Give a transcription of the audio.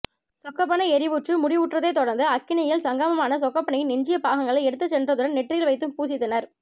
சொக்கப்பனை எரிவுற்று முடிவுற்றதைத் தொடர்ந்து அக்கினியில் சங்கமமான சொக்கப்பனையின் எஞ்சிய பாகங்களை எடுத்துச் சென்றதுடன் நெற்றியில் வைத்தும் பூசித்தனர்